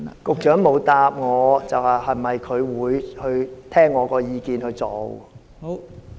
局長沒有回答，是否會聽取我的意見去做？